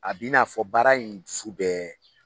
A bɛ i n'a fɔ baara in dusu bɛ